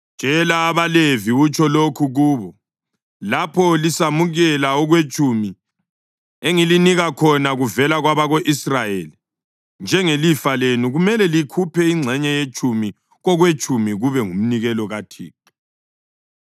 “Tshela abaLevi utsho lokhu kubo: ‘Lapho lisamukela okwetshumi engilinika khona kuvela kwabako-Israyeli njengelifa lenu, kumele likhuphe ingxenye yetshumi kokwetshumi kube ngumnikelo kuThixo.